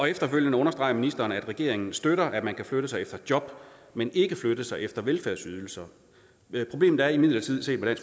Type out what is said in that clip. efterfølgende understreger ministeren at regeringen støtter at man kan flytte sig efter job men ikke flytte sig efter velfærdsydelser problemet er imidlertid set med